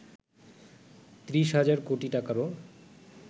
৩০ হাজার কোটি টাকারও